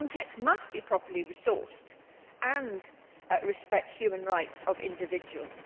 Frontex must be properly resourced and respect human rights of individuals.